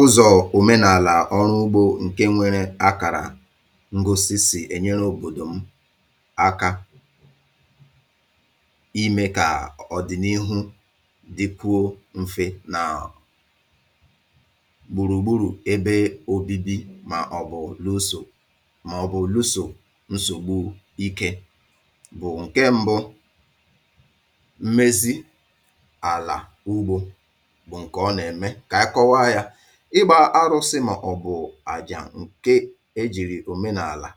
Ụzọ omenala ọrụ ugbo nke nwere akara ngosi si e nyere obodo m aka i ime ka ọ ọdịnihu dikwuo mfe na gburugburu ebe obibi maọbụ luso maọbụ luso nsogbu ike bụ nke mbụ, mmezi ala ugbo bụ nke ọ na-eme. K'anyị kọwaa ya. Ịgba arụsị ma ọ bụ aja nke e jiri omenaala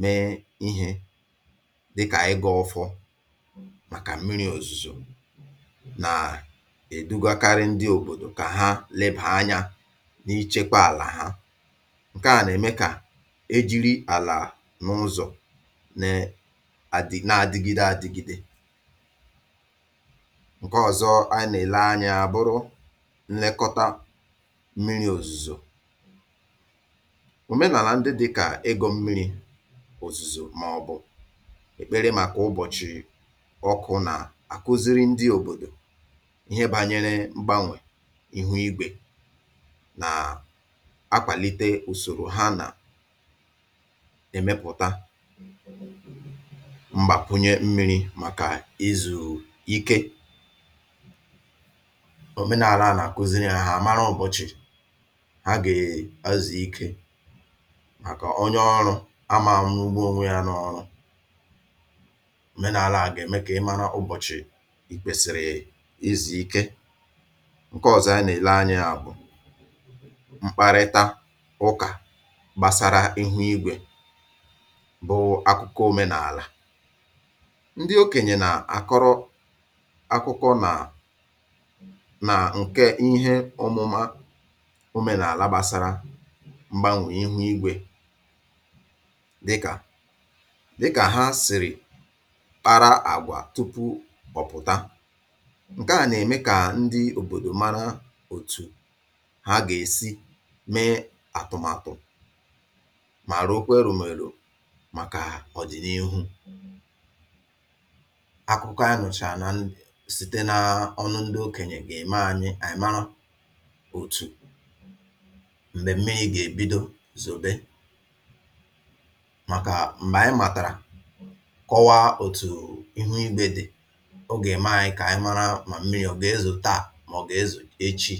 mee ihe dịka ị́gọ ọfọ maka mmiri ozuzo na-edugakarị ndị obodo ka ha lebaa anya n'ichekwa ala ha. Nke a na-eme ka e jiri ala n'ụzọ ne adi na-adịgide adịgide. Nke ọzọ anyị na-ele anya ya a bụrụ nlekọta mmiri ozuzo. Omenala ndị di ka ị́gọ mmiri maka ozuzo maọbụ ekpere maka ụbọchị ọkụ na-akụziri ndị obodo ihe banyere mgbanwe ihe igwe na-akwalite usoro ha na emepụta mgbakwụnye mmiri mmaka izu ike. Omenaala a na-akụziri ha ha a mara ụbọchị ha ga ezu Ike maka onye ọrụ aman rugbu onwe ya n'ọrụ. Omenaala a ga-eme ka ị mara ụbọchị i kwesị izu ike. Nke ọzọ a na-ele anya ya bụ mkparịta ụka gbasara ihe ígwè bụ akụkọ omenala. Ndị okenye na-akọrọ akụkọ na na nke ihe ọmụma n'ala gbasara mgbanwe ihu ígwe dịka dịka ha siri kpara àgwà tupu ọ pụta. Nke a na-eme ka ndị obodo mara otu ha ga-esi mee atụmatụ ma rokwaa eromero maka ọdịnihu. Akụkọ a nụchaa na n site naa ọnụ ndị okenye ga-eme anyị mara otu mmemme ị ga-ebido sowe maka mgbe anyị matara kọwaa otu ihu igwe dị, ọ ga-eme anyị k'anyị mara ma mmiri ma ọ ga-ezo taa ma ọ ga-ezo echi.